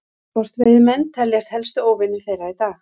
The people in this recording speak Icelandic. sportveiðimenn teljast helstu óvinir þeirra í dag